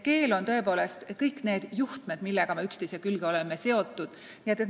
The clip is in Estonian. Näiteks et keel on kõik need juhtmed, millega me üksteise külge oleme seotud.